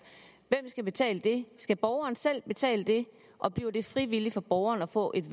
hvem skal betale det skal borgeren selv betale det og bliver det frivilligt for borgeren at få et